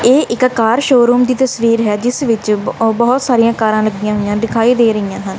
ਇਹ ਇੱਕ car showroom ਦੀ ਤਸਵੀਰ ਹੈ ਜਿਸ ਵਿੱਚ ਬਹੁਤ ਸਾਰੀਆਂ ਕਾਰਾਂ ਲੱਗੀਆਂ ਹੋਈਆਂ ਦਿਖਾਈ ਦੇ ਰਹੀਆਂ ਹਨ।